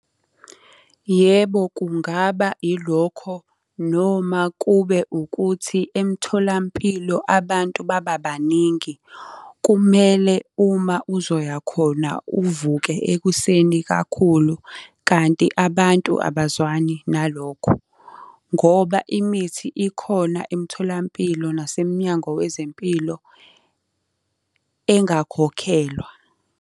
Yebo, kungaba ilokho noma kube ukuthi emtholampilo abantu baba baningi. Kumele uma uzoya khona uvuke ekuseni kakhulu kanti abantu abazwani nalokho. Ngoba imithi ikhona emtholampilo naseminyango wezempilo engakhokhelwa.